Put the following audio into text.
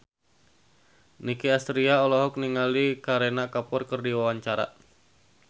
Nicky Astria olohok ningali Kareena Kapoor keur diwawancara